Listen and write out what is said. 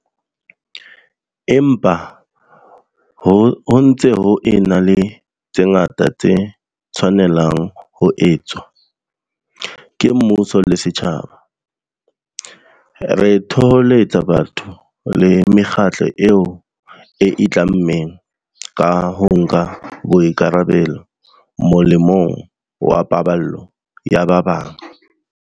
Empa, ho ntse ho ena le tse ngata tse tshwanelang ho etswa, ke mmuso le setjhaba. Re thoholetsa batho le mekgatlo eo e itlammeng ka ho nka boikarabelo molemong wa paballo ya ba bang.